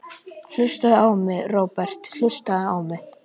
Hlustaðu á mig, Róbert, hlustaðu á mig.